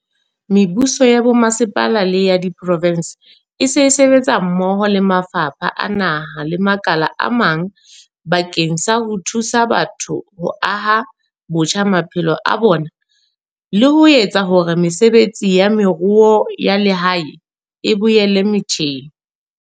Mebuso ya bomasepala le ya diprovense esale e sebetsa mmoho le mafapha a naha le makala a mang bakeng sa ho thusa batho ho aha botjha maphelo a bona le ho etsa hore mesebetsi ya moruo ya lehae e boela motjheng.